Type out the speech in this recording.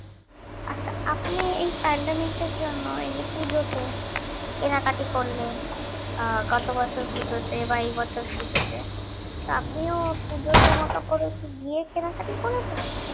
আচ্ছা আপনি এই pandemic এর জন্য এই যে পুজোতে কেনাকাটি করলেন আহ গত বছর পুজোতে বা এই বছর পুজোতে আপনিও পুজোর জামা কাপড় ও কি গিয়ে কেনাকটি করেছিলেন